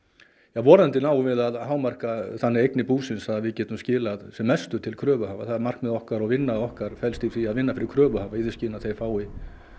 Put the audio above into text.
vonandi náum við að hámarka þannig eignir búsins að við getum skilað sem mestu til kröfuhafa það er markmið okkar og vinna okkar felst í því að vinna fyrir kröfuhafa í því skyni að þeir fái